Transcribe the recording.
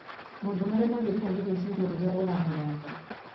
Maũndũ marĩa magĩrĩirũo nĩ gwĩciria rĩrĩa ũramũranga;